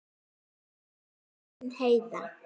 Þín Kristín Heiða.